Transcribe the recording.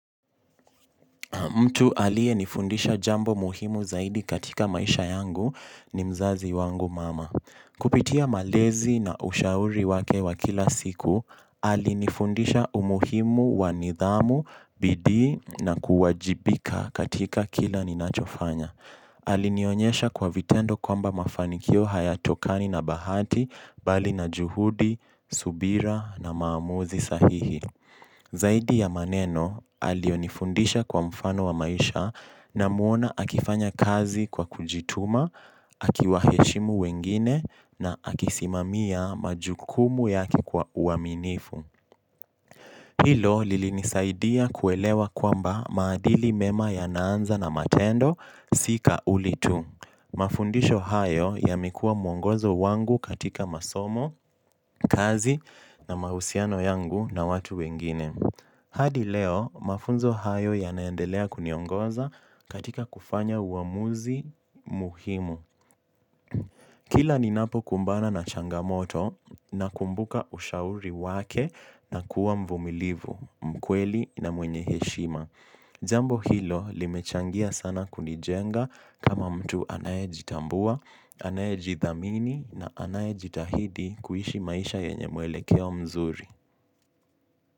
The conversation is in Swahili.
Mtu alie nifundisha jambo muhimu zaidi katika maisha yangu ni mzazi wangu mama. Kupitia malezi na ushauri wake wa kila siku, alinifundisha umuhimu wanidhamu, bidii na kuwajibika katika kila ninachofanya. Alinionyesha kwa vitendo kwamba mafanikio haya tokani na bahati, bali na juhudi, subira na maamuzi sahihi. Zaidi ya maneno alionifundisha kwa mfano wa maisha na muona akifanya kazi kwa kujituma, akiwa heshimu wengine na akisimamia majukumu yake kwa uaminifu. Hilo lili nisaidia kuelewa kwamba maadili mema ya naanza na matendo sika uli tu. Mafundisho hayo ya mekuwa mwongozo wangu katika masomo, kazi na mahusiano yangu na watu wengine. Hadi leo, mafunzo hayo ya naendelea kuniongoza katika kufanya uamuzi muhimu. Kila ni napo kumbana na changamoto na kumbuka ushauri wake na kuwa mvumilivu, mkweli na mwenye heshima. Jambo hilo limechangia sana kunijenga kama mtu anaye jitambua, anaye jithamini na anaye jitahidi kuishi maisha yenye mwele keo mzuri.